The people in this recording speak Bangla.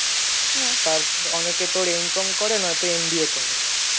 তার অনেকে তোর comlangg:Eng করে নয়তো BA করে